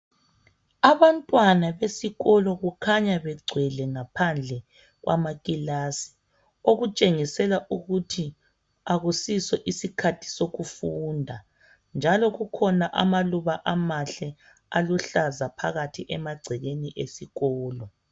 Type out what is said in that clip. Abantwana besikolo kukhanya begcwele ngaphandle kwamakilasi okutshengisela ukuthi akusiso isikhathi sokufunda njalo kukhona amaluba amahle aluhlaza phakathi emagcekeni esikolo.